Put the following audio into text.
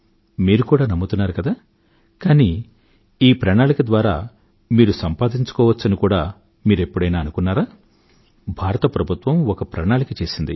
మీరు కూడా నమ్ముతున్నారు కదా కానీ ఈ ప్రణాళిక ద్వారా మీరు సంపాదించుకోవచ్చని కూడా మీరెప్పుడైనా అనుకున్నారా భారత ప్రభుత్వం ఒక ప్రణాళిక చేసింది